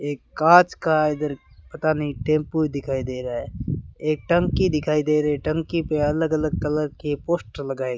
एक कांच का इधर पता नहीं टेम्पो दिखाई दे रहा है एक टंकी दिखाई दे रही है टंकी पे अलग अलग कलर के पोस्टर लगाये --